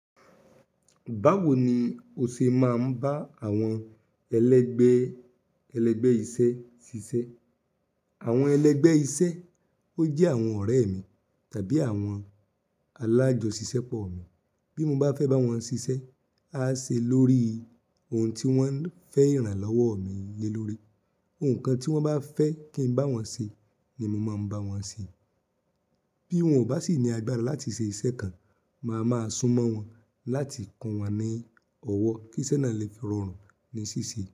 Báwo ni o ṣe máa ń bá àwọn ẹlẹgbẹ́ ẹlẹgbẹ́ iṣẹ́ ṣiṣẹ́? Àwọn ẹlẹgbẹ́ iṣẹ́, ó jẹ́ àwọn ọ̀rẹ́ mi tàbí àwọn alájọṣìṣẹ́ pọ̀ mi. Bí mo bá fẹ́ bá wọn ṣiṣẹ́, á ṣe lórí oun tí wọ́n fẹ́ irànlọ́wọ́ mi lélórí. Oùn kan tí wọ́n bá fẹ́ kín bá wọn ṣe ni mo máa ń bá wọn ṣe. Bí wọ́n ò bá sì ní agbára láti ṣe iṣẹ́ kan, màá máa sún mọ́ wọn láti kun wọn ní ọwọ́ kí iṣẹ́ náà lè fi rọrùn ní ṣíṣe.